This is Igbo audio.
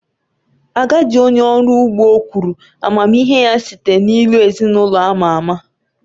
Agadi onye ọrụ ugbo kwuru amamihe ya site n’ilu ​​ezin’ụlọ ama ama.